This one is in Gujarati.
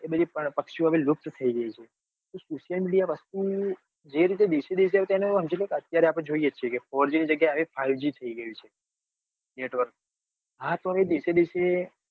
એ બધી પક્ષીઓ લુપ્ત થઇ ગઈ જે રીતે આપડે જોઈ છીએ કે four g ની જગ્યા એ five g જ થઇ ગયું છે. network હા તો હવે દિવસે દિવસે